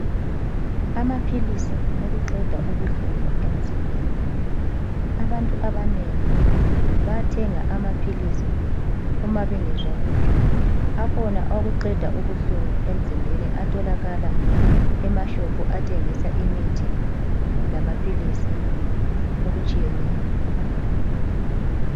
Amaphilisi wokuqeda ubuhlungu emzimbeni, abantu abanengi bayathenga amaphilisi Uma bengezwa kuhle. Akhona owokuqeda ubuhlungu emzimbeni atholakala emashophu athengisa imithi lamaphilisi okutshiyeneyo.